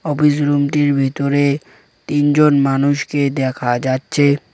Office রুমটির ভিতরে তিনজন মানুষকে দেখা যাচ্ছে।